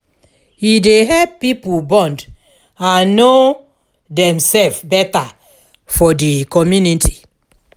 e dey help pipo bond and no demself beta for di community